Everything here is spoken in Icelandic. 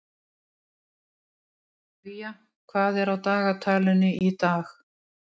Margt bendir til þess að sjálf baráttan við slíkar hugsanir geri þær enn illvígari.